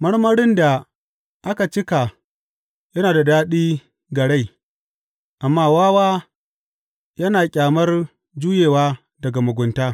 Marmarin da aka cika yana da daɗi ga rai, amma wawa yana ƙyamar juyewa daga mugunta.